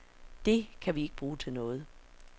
Det kan vi ikke bruge til noget.